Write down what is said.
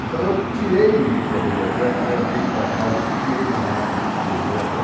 Então eu tirei o livro da biblioteca, levei para casa e copiei na máquina de escrever essa